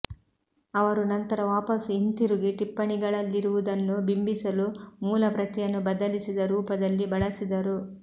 ಅವರು ನಂತರ ವಾಪಸು ಹಿಂತಿರುಗಿ ಟಿಪ್ಪಣಿಗಳಲ್ಲಿರುವುದನ್ನು ಬಿಂಬಿಸಲು ಮೂಲಪ್ರತಿಯನ್ನು ಬದಲಿಸಿದ ರೂಪದಲ್ಲಿ ಬಳಸಿದರು